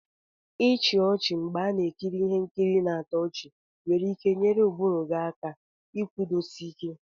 ichi ochi mgbe a na ekiri Ihe nkiri na-atọ ọchị nwere ike nyere ụbụrụ gị aka ikwudosi Ike.